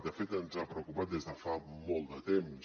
de fet ens ha preocupat des de fa molt de temps